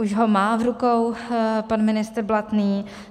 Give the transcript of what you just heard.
Už ho má v rukou pan ministr Blatný.